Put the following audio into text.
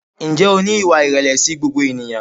Ǹjẹ́ o ní ìwà ìrẹ̀lẹ̀ sí gbogbo ènìyàn?